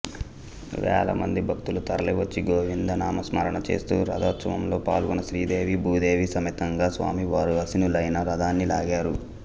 వేలమంది భక్తులు తరలివచ్చి గోవిందనామ స్మరణ చేస్తూ రథోత్సవంలో పాల్గొని శ్రీదేవీ భూదేవీ సమేతంగా స్వామివారు ఆశీనులైన రథాన్ని లాగారు